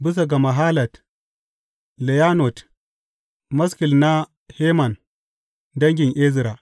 Bisa ga mahalat leyannot maskil na Heman dangin Ezra.